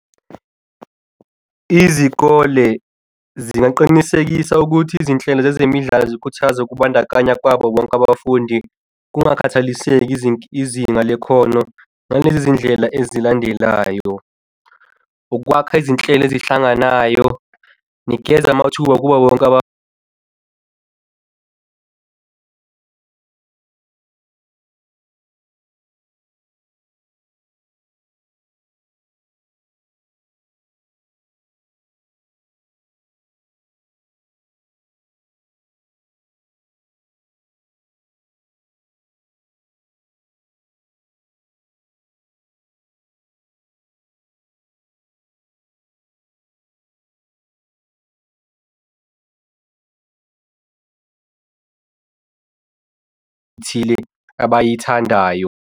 Izikole zingaqinisekisa ukuthi izinhlelo zezemidlalo zikhuthaza ukubandakanya kwabo bonke abafundi kungakhathaliseki izinga lekhono noma izindlela ezilandelayo. Ukwakha izinhlelo ehlanganayo, nikeza amathuba kubo bonke ethile abayithandayo.